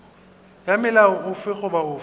ya molao ofe goba ofe